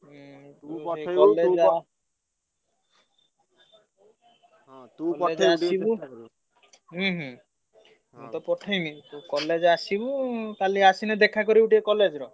ହୁଁ ହୁଁ ହୁଁ ତତେ ପଠେଇବି। ତୁ college ଆସିବୁ କାଲି ଆସିଲେ ଟିକେ ଦେଖା କରିବୁ college ରେ।